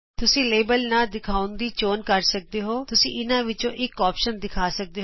ਤੁਸੀਂ ਲੈਬਲ ਨਾ ਦਿਖਾਉਣ ਦੀ ਚੋਣ ਕਰ ਸਕਦੇ ਹੋ ਜਾਂ ਤੁਸੀਂ ਇਹਨਾਂ ਵਿਚੋਂ ਇਕ ਵਿਕਲਪ ਦਿਖਾ ਸਕਦੇ ਹੋ